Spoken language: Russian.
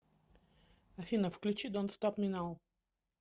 афина включи донт стоп ми нау